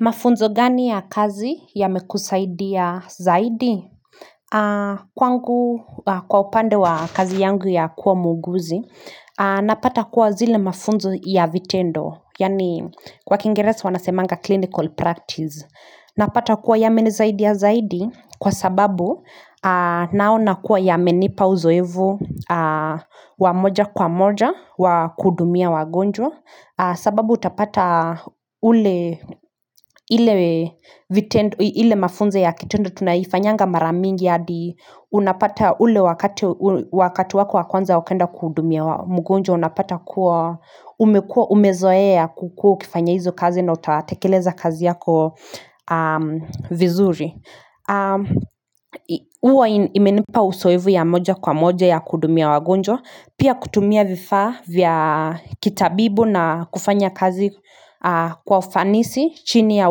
Mafunzo gani ya kazi yamekusaidia zaidi? Kwa upande wa kazi yangu ya kuwa muuguzi, napata kuwa zile mafunzo ya vitendo. Yaani kwa kiingeresi wanasemanga clinical practice. Napata kuwa yamenisaidia zaidi kwa sababu naona kuwa yamenipa uzoevu wa moja kwa moja wa kuhudumia wagonjwa. Sababu utapata ile mafunzo ya kitenda tunaifanyanga mara mingi Unapata ule wakati wako wa kwanza ukienda kuhudumia mgonjwa Unapata kuwa umezoea kukua ukifanya hizo kazi na utatekeleza kazi yako vizuri huwa imenipa uzoevu ya moja kwa moja ya kuhudumia wagonjwa Pia kutumia vifaa vya kitabibu na kufanya kazi kwa ufanisi chini ya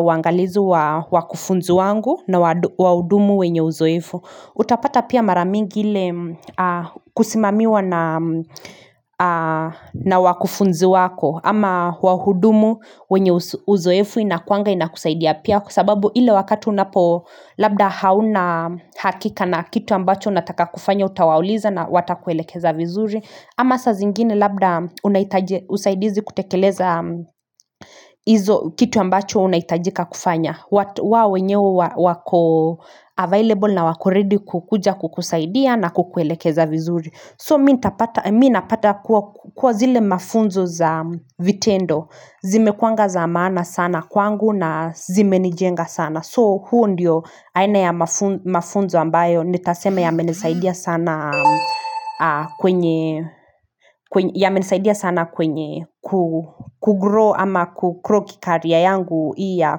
uangalizi wa kufunzi wangu na wahudumu wenye uzoefu. Utapata pia mara mingi ile kusimamiwa na wakufunzi wako. Ama huwahudumu wenye uzoefu inakuanga inakusaidia pia Kwa sababu ile wakati unapo labda hauna hakika na kitu ambacho unataka kufanya utawauliza na watakuelekeza vizuri ama saa zingine labda unahitaji usaidizi kutekeleza hizo kitu ambacho unahitajika kufanya wao wenyewe wako available na wako ready kukuja kukusaidia na kukuelekeza vizuri So mimi napata kuwa zile mafunzo za vitendo, zimekuanga za maana sana kwangu na zimenijenga sana. So huo ndio aina ya mafunzo ambayo nitasema yamenisaidia sana sana kwenye kugrow ama kugrow kicareer yangu hii ya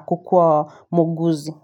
kukua muuguzi.